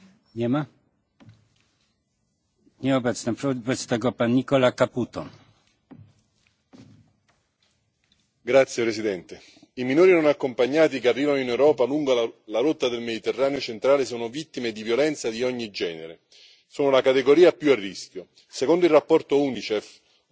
Signor Presidente, onorevoli colleghi, i minori non accompagnati che arrivano in Europa lungo la rotta del Mediterraneo centrale sono vittime di violenze di ogni genere, sono la categoria più a rischio. Secondo il rapporto UNICEF Un viaggio mortale per i bambini, pubblicato